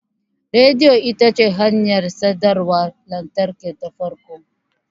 Rediyo ita ce hanyar sadarwar lantarki ta farko.